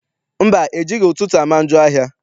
Mba, ejighị ụtụtụ ama njọ ahịa.